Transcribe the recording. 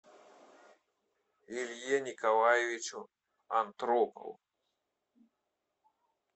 илье николаевичу антропову